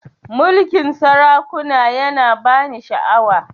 Mulkin sarakuna ya na ba ni sha'awa